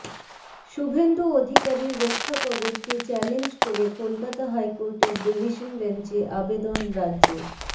শুভেন্দু অধিকারীর রক্ষাকবচকে চ্যালেঞ্জ করে কলকাতা হাইকোর্টের ডিভিশন বেঞ্চে আবেদন রাজ্যের